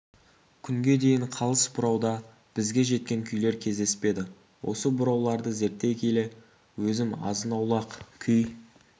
күнге дейін қалыс бұрауда бізге жеткен күйлер кездеспеді осы бұрауларды зерттей келе өзім азын-аулақ күй